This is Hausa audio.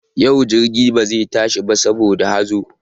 Yau jirgi ba za ta tashi ba saboda hazo.